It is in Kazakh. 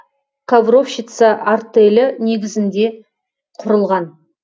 ковровщица артелі негізінде құрылған